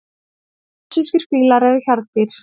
Asískir fílar eru hjarðdýr.